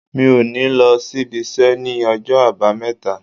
Mi ò ní lọ s'ibiṣẹ́ ní ọjọ́ Àbámẹ́ta.